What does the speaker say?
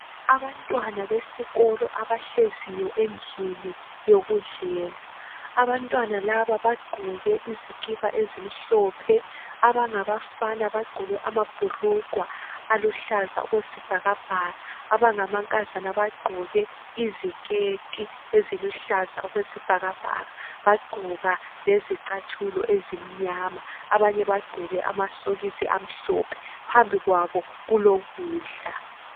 Abantwana besikolo abah, eziyo endlini yokudlela abantwana labs bagqoke iskipa ezimhlope abangabafana bagaoke amabhulujwa aluhlaza okwesibhakabhaka abangamankazana bagqoke iziketi eziluhlaza okwesibhakabhaka bagqoka lezicathulo ezimnyama abanyebagqoke amasokisi amhlophephambimwabo kubo kudla.